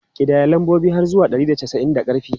Ƙidaya lambobi har zuwa ɗari da casa'in da ƙarfi!